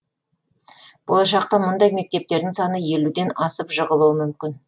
болашақта мұндай мектептердің саны елуден асып жығылуы мүмкін